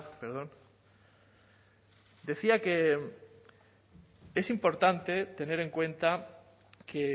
perdón decía que es importante tener en cuenta que